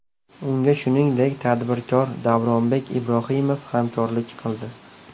Unga shuningdek, tadbirkor Davronbek Ibrohimov hamkorlik qildi.